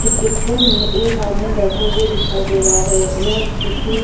इस पिक्चर में एक आदमी बैठे हुए दिखाई दे रहा है यह किसी --